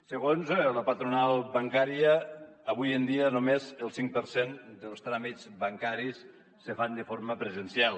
segons la patronal bancària avui en dia només el cinc per cent dels tràmits bancaris se fan de forma presencial